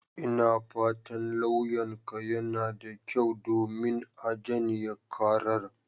Ina fatan lauyanka yana da kyau, domin a janye karar.